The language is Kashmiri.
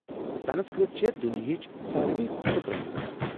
سنسکرت چھےٚ دُنِیاہچ سارِوی کھۄتہٕ پرٛٲنۍ زبان۔